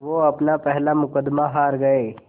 वो अपना पहला मुक़दमा हार गए